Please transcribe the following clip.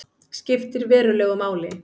Skiptir verulegu máli